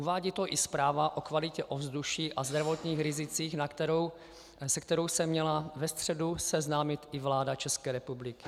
Uvádí to i zpráva o kvalitě ovzduší a zdravotních rizicích, se kterou se měla ve středu seznámit i vláda České republiky.